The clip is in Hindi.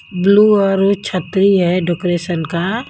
ब्लू और छतरी है डेकोरेशन का--